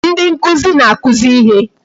Ndi nkụzi na-akụzi ihe